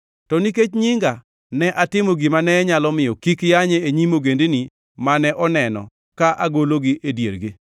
To nikech nyinga, ne atimo gimane nyalo miyo kik yanye e nyim ogendini mane oneno ka agologi e diergi.